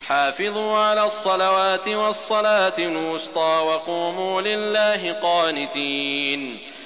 حَافِظُوا عَلَى الصَّلَوَاتِ وَالصَّلَاةِ الْوُسْطَىٰ وَقُومُوا لِلَّهِ قَانِتِينَ